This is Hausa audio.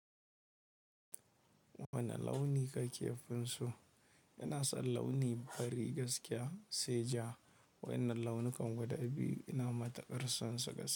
Wani launi ka ke fim so? Ina son launi fari gaskiya, sai ja. Wannan launukan guda biyu ina matukar son su gaskiya.